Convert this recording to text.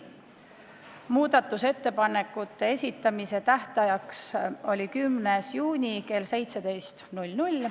Muudatusettepanekute esitamise tähtaeg oli 10. juuni kell 17.